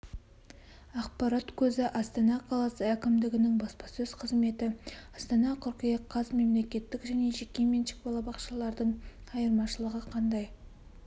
ақпарат көзі астана қаласы әкімдігінің баспасөз қызметі астана қыркүйек қаз мемлекеттік және жекеменшік балабақшалардың айырмашылығы қандай